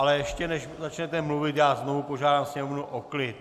Ale ještě než začnete mluvit, já znovu požádám sněmovnu o klid.